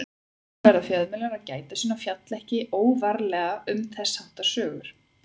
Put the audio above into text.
Þarna verða fjölmiðlar að gæta sín og fjalla ekki óvarlega um þess háttar sögur.